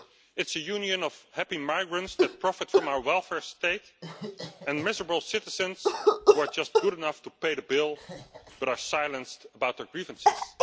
It's a union of happy migrants that profit from our welfare state and miserable citizens who are just good enough to pay the bill but are silenced about their grievances.